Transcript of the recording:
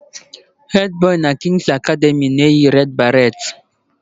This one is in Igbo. Hedi Boi na kings academy na-eyi red baret